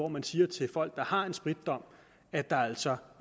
man siger til folk der har en spritdom at der altså